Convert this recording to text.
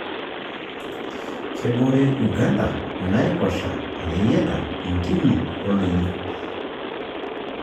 Kebore Uganda inaaiposha, ireyiata, intimi o Ildonyio.